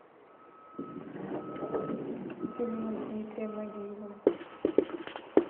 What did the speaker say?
фильмы с дмитрием нагиевым